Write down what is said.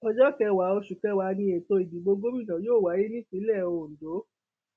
ọjọ kẹwàá oṣù kẹwàá ni ètò ìdìbò gómìnà yóò wáyé nípínlẹ ondo